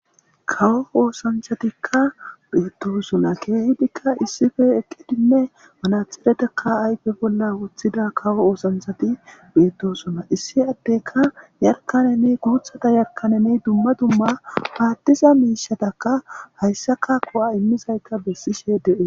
kawo oosanthatikka beettosuna keehidikka issife eqqidinne manatheretakka ayfe bolla wuthida kawo oosanthati beettosunna issi atteka yarkanene guuthata yarkanene dumma dumma paattiza miishatakka hayssaka ko7a immizayta bessishe de7e